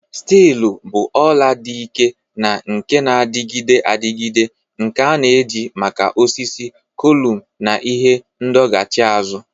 Steelu bụ ọla dị ike na nke na-adịgide adịgide nke a na-eji maka osisi, kọlụm, na ihe ndọghachi azụ.